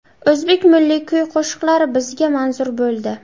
O‘zbek milliy kuy-qo‘shiqlari bizga manzur bo‘ldi.